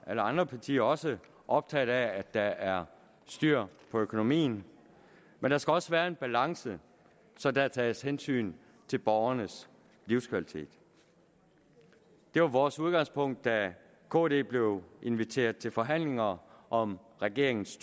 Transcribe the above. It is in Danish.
alle andre partier også optaget af at der er styr på økonomien men der skal også være en balance så der tages hensyn til borgernes livskvalitet det var vores udgangspunkt da kd blev inviteret til forhandlinger om regeringens